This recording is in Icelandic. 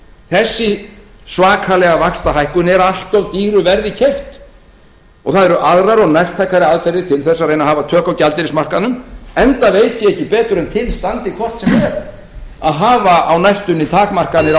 þessi svakalega vaxtahækkun er allt of dýru verði keypt og það eru aðrar og nærtækari aðferðir til þess að reyna að hafa tök á gjaldeyrismarkaðnum enda veit ég ekki betur en til standi hvort sem er að hafa á næstunni takmarkanir á